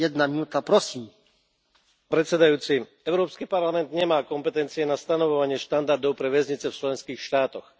Vážený pán predsedajúci, Európsky parlament nemá kompetencie na stanovovanie štandardov pre väznice v členských štátoch.